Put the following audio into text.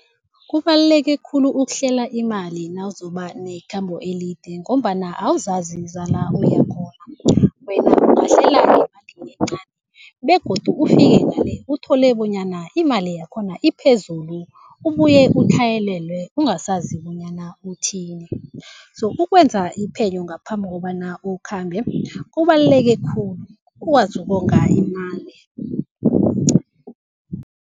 Kubaluleke khulu ukuhlela imali nawuzoba nekhambo elide ngombana awuzazi zala uyakhona. Wena ungahlela ngemali encani begodu ufike ngale uthole bonyana imali yakhona iphezulu, ubuye utlhayelelwe ungasazi bonyana uthini. So ukwenza iphenyo ngaphambi kobana ukhambe kubaluleke khulu, ukwazi ukonga imali.